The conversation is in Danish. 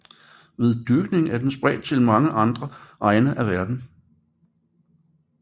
Ved dyrkning er den spredt til mange andre egne af verden